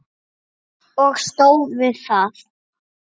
Og stóð við það.